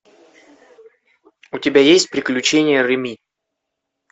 у тебя есть приключения реми